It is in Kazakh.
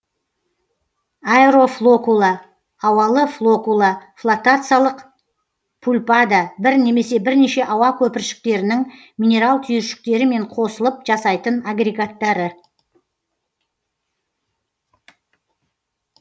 аэрофлокула ауалы флокула флотациялық пульпада бір немесе бірнеше ауа көпіршіктерінің минерал түйіршіктерімен қосылып жасайтын агрегаттары